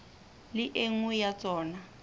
le e nngwe ya tsona